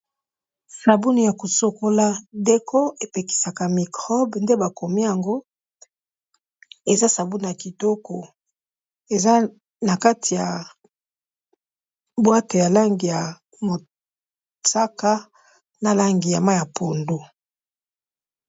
Sabuni ya kosokola deko epekisaka microbe nde bakomi yango, eza sabuni ya kitoko. Eza na kati ya boite ya langi ya mosaka, na langi ya mayi ya pondu.